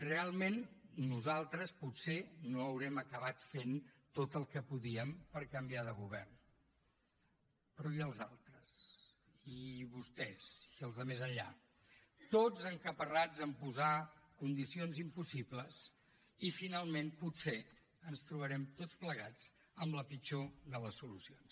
realment nosaltres potser no haurem acabat fent tot el que podíem per canviar de govern però i els altres i vostès i els de més enllà tots encaparrats a posar condicions impossibles i finalment potser ens trobarem tots plegats amb la pitjor de les solucions